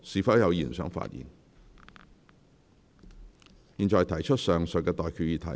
我現在向各位提出上述待決議題。